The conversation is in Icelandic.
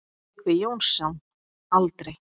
Tryggvi Jónsson: Aldrei.